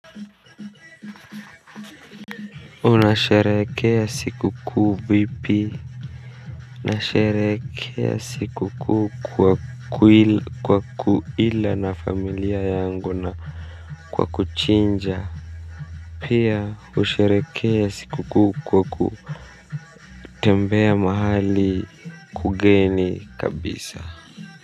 Unasherekea sikuku vipi nasherekea sikuku kwa kuila na familia yangu na kwa kuchinja. Pia usherekea sikuku kwa kutembea mahali kugeni kabisa.